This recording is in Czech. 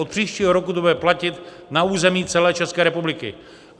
Od příštího roku to bude platit na území celé České republiky.